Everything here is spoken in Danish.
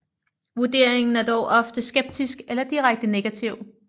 Vurderingen er dog ofte skeptisk eller direkte negativ